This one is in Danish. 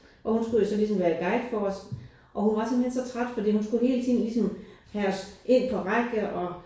Og hun skulle jo så ligesom være guide for os og hun var simpelthen så træt fordi hun skulle hele tiden ligesom have os ind på række og